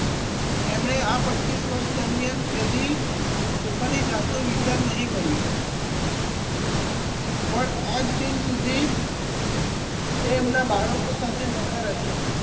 એમણે આ પચ્ચીસ વર્ષ દરમિયાન કદી પોતાની જાતનો વિચાર નહિ કરયો પણ આજ દિન સુધી એ એમના બાળકો સાથે નતા રહીયા